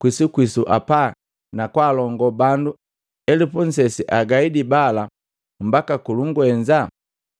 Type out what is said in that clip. kwisukwisu apa na kwaalongo bandu elupu nnsesi agaide bala mbaka ku kulungwenza?”